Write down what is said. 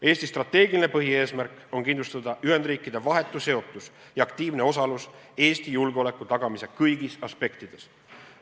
Eesti strateegiline põhieesmärk on kindlustada Ühendriikide vahetu seotus ja aktiivne osalus Eesti julgeoleku tagamise kõigis aspektides.